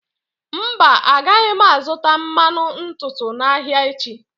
Mba, agaghị m azụta mmanụ ntutu n'ahịa echi.